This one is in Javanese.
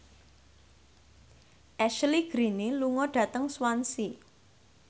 Ashley Greene lunga dhateng Swansea